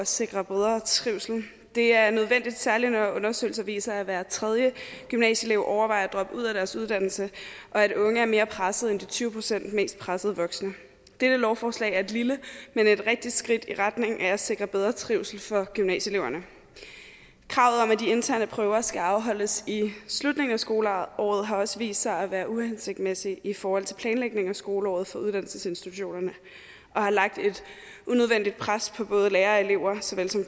sikre bedre trivsel det er nødvendigt særlig når undersøgelser viser at hver tredje gymnasieelev overvejer at droppe ud af sin uddannelse og at unge er mere pressede end de tyve procent mest pressede voksne dette lovforslag er et lille men rigtigt skridt i retning af at sikre bedre trivsel for gymnasieeleverne kravet om at de interne prøver skal afholdes i slutningen af skoleåret har også vist sig at være uhensigtsmæssige i forhold til planlægningen af skoleåret for uddannelsesinstitutionerne og har lagt et unødvendigt pres på både lærere og elever såvel som